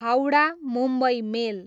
Howrah, Mumbai मेल